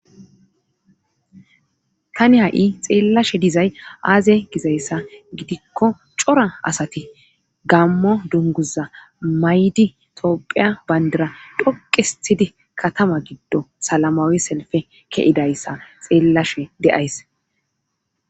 Tani ha'i xeellashe dizay aaze gizayssa gidikko cora asati gaammo dunguza may'di toophiya bandira dhoqqu histidii katama giddon salamawi selippe ke'idayssa xeellashe de'ays